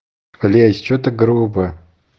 клещ что так грубо